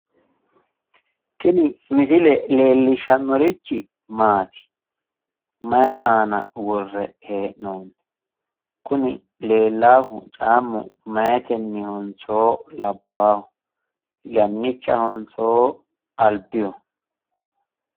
Tini misile leellishshannorichi maati? mayi aana worre hee'noonni? kuni leellaahu cammu meyaatennihonso labbaahunniho? yannichahonso albiho?